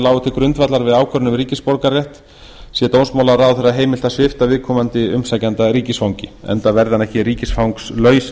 til grundvallar við ákvörðun um ríkisborgararétt sé dómsmálaráðherra heimilt að svipta viðkomandi umsækjanda ríkisfangi enda verði hann ekki ríkisfangslaus